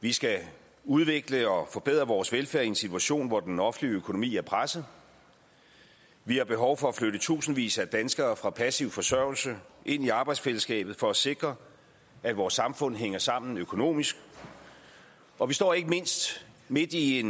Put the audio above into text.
vi skal udvikle og forbedre vores velfærd i en situation hvor den offentlige økonomi er presset vi har behov for at flytte i tusindvis af danskere fra passiv forsørgelse ind i arbejdsfællesskabet for at sikre at vores samfund hænger sammen økonomisk og vi står ikke mindst midt i en